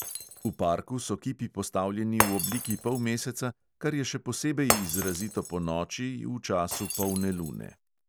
V parku so kipi postavljeni v obliki polmeseca, kar je še posebej izrazito ponoči v času polne lune.